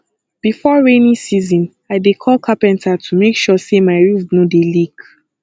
before rainy season i dey call carpenter to make sure sey my roof no dey leak